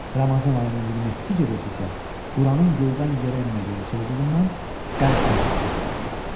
Ramazan ayının 27-si gecəsi isə Quranın göydən yerə enmə gecəsi olduğundan Qədr gecəsi hesab olunur.